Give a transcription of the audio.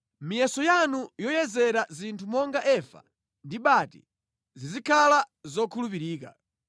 Miyeso yanu yoyezera zinthu monga efa ndi bati zizikhala zokhulupirika.